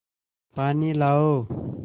पानी लाओ